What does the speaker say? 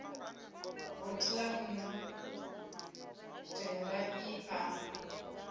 vothi ḽa nnḓu tendai a